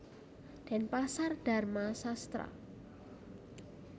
Denpasar Dharma Sastra